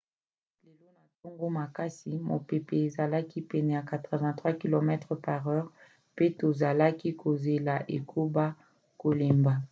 lelo na ntongo makasi mopepe ezalaki pene ya 83 km/h mpe tozalaki kozela ekoba kolemba